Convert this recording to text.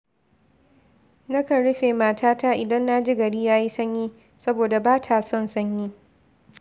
Nakan rufe matata idan na ji gari yayi sanyi, saboda ba ta son sanyi